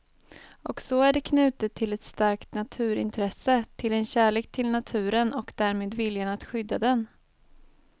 Och så är det knutet till ett starkt naturintresse, till en kärlek till naturen och därmed viljan att skydda den.